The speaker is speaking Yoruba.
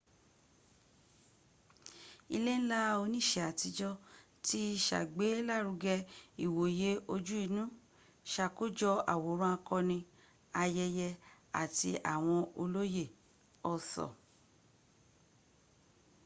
ilé ńlá oníṣe àtijọ́ ti sàgbélárugẹ ìwòye ojú inú sàkójọ̀ àwòrán akọni ayẹyẹ àti àwọn olóyè arthur